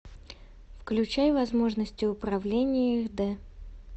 включай возможности управления аш д